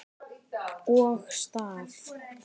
Og staf.